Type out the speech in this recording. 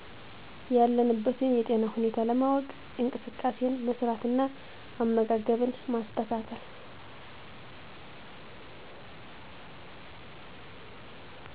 ያለንበትን የጤና ሁኔታ ለማወ፤ ቅ እንቅስቃሴን መስራት እና አመጋገብን ማስተካከል